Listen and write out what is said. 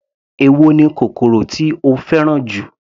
Èwo ni kòkòrò tí o fẹ́ràn jù.